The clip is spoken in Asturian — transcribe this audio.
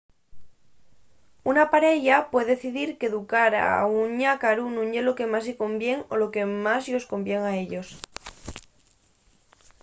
una pareya puede decidir qu’educar un ñácaru nun ye lo que más-y convién o lo que más-yos convién a ellos